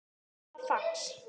eða fax